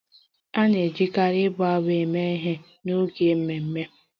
A na-ejikarị abụ abụ eme ihe n'oge ememe